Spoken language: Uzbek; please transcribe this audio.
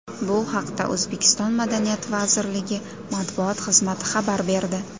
Bu haqda O‘zbekiston madaniyat vazirligi matbuot xizmati xabar berdi.